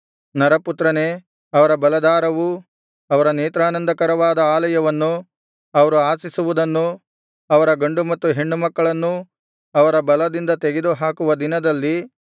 ನರಪುತ್ರನೇ ಅವರ ಬಲಾಧಾರವೂ ಅವರ ನೇತ್ರಾನಂದಕರವಾದ ಆಲಯವನ್ನು ಅವರು ಆಶಿಸುವುದನ್ನೂ ಅವರ ಗಂಡು ಮತ್ತು ಹೆಣ್ಣು ಮಕ್ಕಳನ್ನೂ ಅವರ ಬಲದಿಂದ ತೆಗೆದು ಹಾಕುವ ದಿನದಲ್ಲಿ